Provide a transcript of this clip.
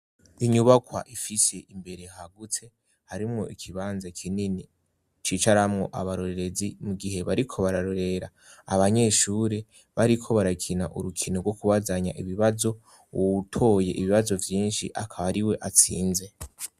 inyubakwa ifise imbere hagutse harimwo ikibanza kinini cicaramwo abarorerezi mu gihe bariko bararorera abanyeshure bariko barakina urukino rwo kubazanya ibibazo uwutoye ibibazo vyinshi akaba ari we atsinze